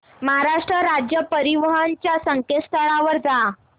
महाराष्ट्र राज्य परिवहन च्या संकेतस्थळावर जा